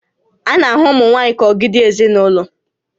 A na-ahụ ụmụ nwaanyị ka ogidi ezinaụlọ